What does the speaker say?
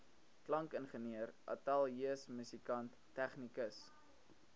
klankingenieur ateljeemusikant tegnikus